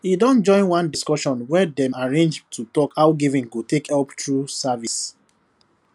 he don join one discussion wey dem arrange to talk how giving go take help through service